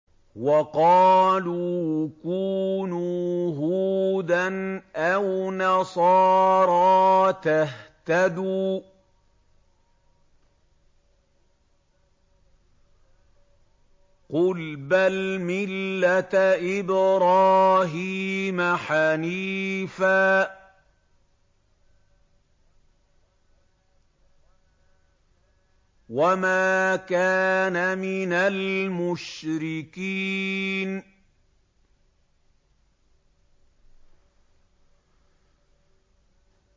وَقَالُوا كُونُوا هُودًا أَوْ نَصَارَىٰ تَهْتَدُوا ۗ قُلْ بَلْ مِلَّةَ إِبْرَاهِيمَ حَنِيفًا ۖ وَمَا كَانَ مِنَ الْمُشْرِكِينَ